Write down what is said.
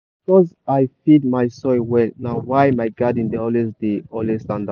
na because i feed my soil well na why my garden dey always dey always stand out.